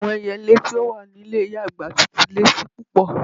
Awọn èyèlè ti o wà ni ilẹ̀ iya-agba ti tun le ṣi pupọ̀.